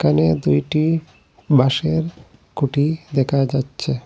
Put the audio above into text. এখানে দুইটি বাঁশের খুঁটি দেখা যাচ্ছে।